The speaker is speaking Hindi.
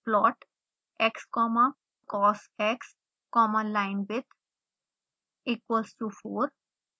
plot x comma cosx comma linewidth equals to 4